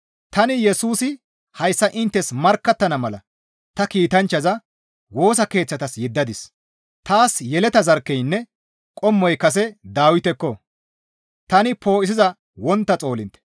«Tani Yesusi hayssa inttes markkattana mala ta kiitanchchaza Woosa Keeththatas yeddadis; taas yeleta zarkkeynne qommoy kase Dawitekko; tani poo7isiza wontta xoolintte.»